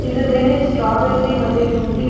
ಇದರ ಮೇಲೆ ಸ್ಟ್ರಾಬರಿ ಮತ್ತೆ ಟೂಟಿ --